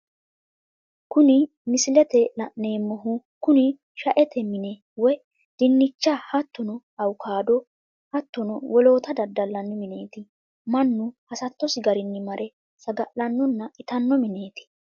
Kuni misilete la'neemohu Kuni shaete mine woyi dinicha hattono awukaado hattono wollota dadalinanni mineti manu hasatosi garinni mare sagalanonna ittano minetti